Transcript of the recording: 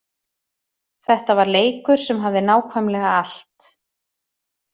Þetta var leikur sem hafði nákvæmlega allt.